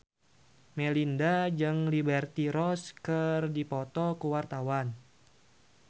Melinda jeung Liberty Ross keur dipoto ku wartawan